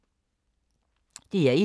DR1